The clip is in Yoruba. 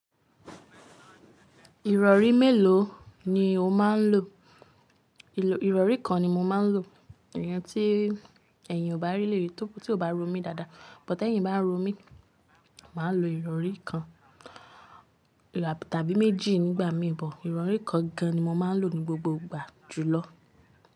Ìrọ̀rí mélòó ni o máa ń lò? Ìrọ̀rí kan ni mo máa ń lò, ìyẹn tí èyin kò bá ríli tí kò bá ro mí dáadáa. Bótá ẹ̀yìn bá nro mí, màá lo ìrọ̀rí kan tàbí méjì nígbà míi. Ìrọ̀rí kan gan ni mo máa ń lò ní gbogbo ìgbà jùlọ.